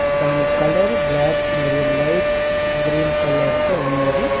దాని colour black మరియు light green colour తో ఉన్నది.